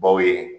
Baw ye